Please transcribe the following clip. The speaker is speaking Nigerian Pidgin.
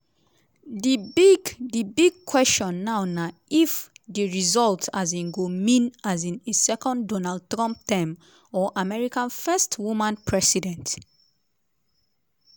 di big di big question now na if di result um go mean um a second donald trump term or america first woman president?